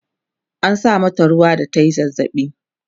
an sa mata ruwa da tayi zazzabi